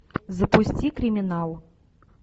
запусти криминал